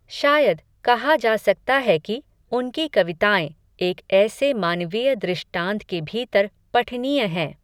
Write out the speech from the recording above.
शायद, कहा जा सकता है कि, उनकी कविताएँ, एक ऐसे मानवीय दृष्टान्त के भीतर, पठनीय हैं